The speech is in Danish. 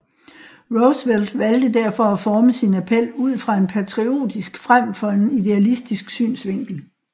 Roosevelt valgte derfor at forme sin appel ud fra en patriotisk frem for en idealistisk synsvinkel